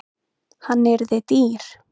Hann yrði dýr.